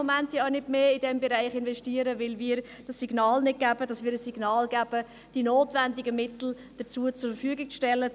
Im Moment kann sie nicht mehr in diesen Bereich investieren, weil wir ihr das Signal nicht geben, die notwendigen Mittel dafür zur Verfügung zu stellen.